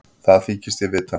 Það þykist ég vita.